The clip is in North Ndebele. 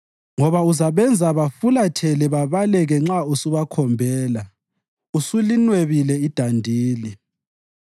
ngoba uzabenza bafulathele babaleke nxa usubakhombela usulinwebile idandili.